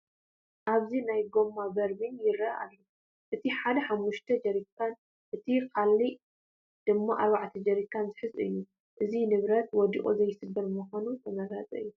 ኣብዚ ናይ ጐማ በርሚል ይርአዩ ኣለዉ፡፡ እቲ ሓደ ሓሙሽተ ጀሪካን እቲ ካልእ ድማ ኣርባዕተ ጀሪካን ዝሕዝ እዩ፡፡ እዚ ንብረት ወዲቑ ዘይስበር ብምዃኑ ተመራፂ እዩ፡፡